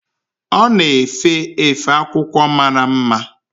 Ọ na-efe efe akwụkwọ mara mma.